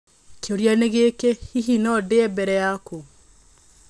Kĩũria nĩ gĩkĩ, hihi no ndĩe mbere yaku?